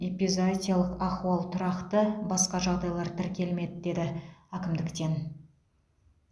эпизоотиялық ахуал тұрақты басқа жағдайлар тіркелмеді деді әкімдіктен